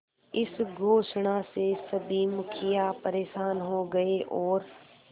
इस घोषणा से सभी मुखिया परेशान हो गए और